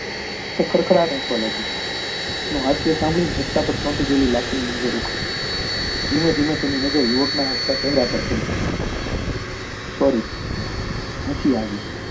તે ખડખડાટ હસવા લાગી એનું હાસ્ય સાંભળી રસ્તા પર ચાલતી પેલી લાખી ધીમે ધીમે તેની નજર યુવક ના હસતા ચહેરા પર પડી sorry હંસી આવી